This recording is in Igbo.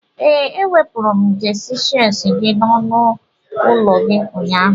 Ee, ewepụrụ m jesi shelsi gi n'ọnụ ụlọ gị ụnyaahụ.